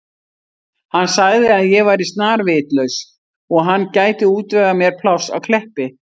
Hann sagði að ég væri snarvitlaus og hann gæti útvegað mér pláss á Kleppi.